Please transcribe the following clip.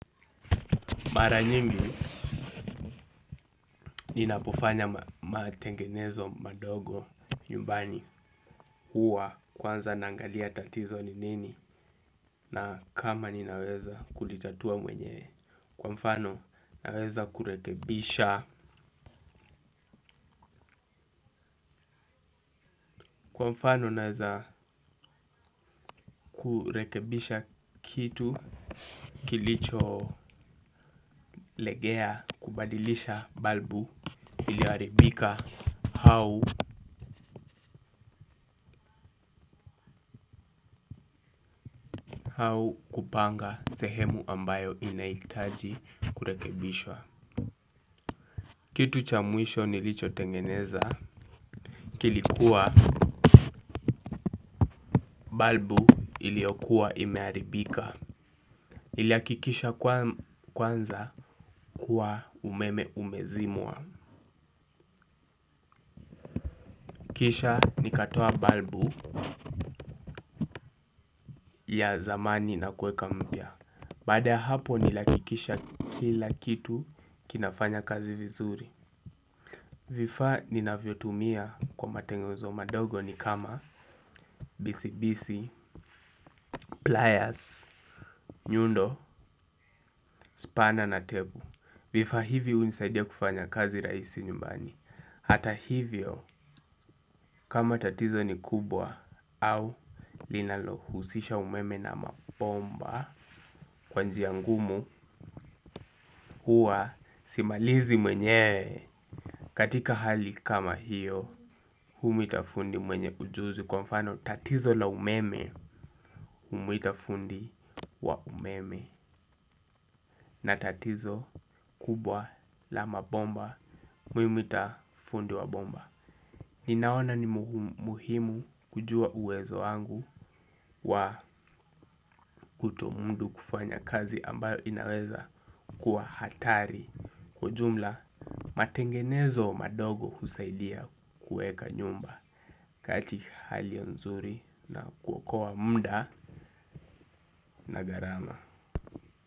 Mara nyingi ninapofanya matengenezo madogo nyumbani huwa kwanza naangalia tatizo nini na kama ninaweza kuitatua mwenyewe kwa mfano naweza kurekebisha kurekebisha kitu kilicho legea kubadilisha balbu iliharibika hau hau kupanga sehemu ambayo inahitaji kurekebishwa. Kitu cha mwisho nilicho tengeneza kilikuwa balbu iliyokuwa imeharibika nilihakikisha kwanza kuwa umeme umezimwa kisha nikatoa balbu ya zamani na kuweka mpya baada ya hapo nilihakikisha kila kitu kinafanya kazi vizuri vifaa ninavyotumia kwa matengezo madogo ni kama bisi bisi, pliers, nyundo, spana na tebu vifaa hivi hunisaidia kufanya kazi rahisi nyumbani hata hivyo kama tatizo ni kubwa au linalo husisha umeme na mabomba kwa njia ngumu huwa simalizi mwenyewe katika hali kama hiyo humwita fundi mwenye ujuzi kwa mfano tatizo la umeme humwita fundi wa umeme na tatizo kubwa la mabomba humwita fundi wa bomba ninaona ni muhimu kujua uwezo wangu wa kutomudu kufanya kazi ambayo inaweza kuwa hatari ujumla matengenezo madogo husaidia kuweka nyumba katika hali nzuri na kuokoa muda na gharama.